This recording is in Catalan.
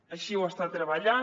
així ho està treballant